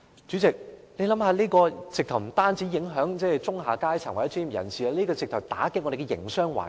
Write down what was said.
這種情況不但影響中下階層或專業人士，甚至會打擊我們的營商環境。